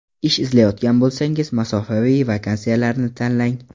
Ish izlayotgan bo‘lsangiz, masofaviy vakansiyalarni tanlang.